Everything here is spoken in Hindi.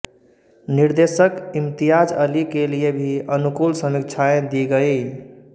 निर्देशक इम्तियाज अली के लिए भी अनुकूल समीक्षाएं दी गयीं